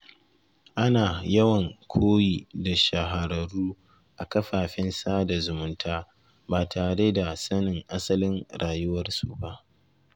Ana yawan koyi da shahararru a kafafen sada zumunta ba tare da sanin asalin rayuwarsu ba.